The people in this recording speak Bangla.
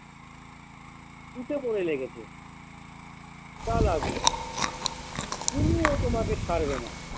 উঠে পড়ে লেগেছে তা লাগুক পুলুও তোমাকে ছাড়বেনা।